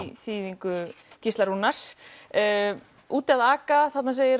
í þýðingu Gísla Rúnars úti að aka þarna segir